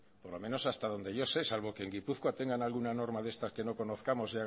por lo menos hasta donde yo sé salvo que en gipuzkoa tengan alguna norma de estas que no conozcamos